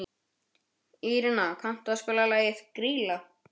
Írena, kanntu að spila lagið „Grýla“?